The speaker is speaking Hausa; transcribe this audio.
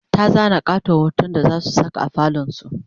ta zana ƙaton hoton da zasu Saka a falon su